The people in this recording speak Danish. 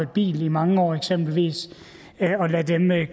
bil i mange år eksempelvis